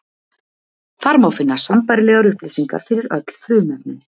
Þar má finna sambærilegar upplýsingar fyrir öll frumefnin.